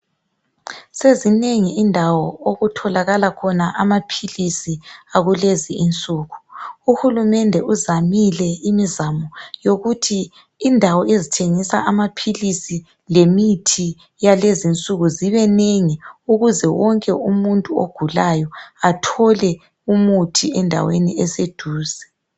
Sezinengi indawo okutholakala khona amaphilisi akulezi insuku uhulumende uzamile imizamo yokuthi indawo ezithengisa amaphilisi lemithi yalezinsuku zibenengi ukuze wonke umuntu ogulayo athole umuthi endaweni eseduze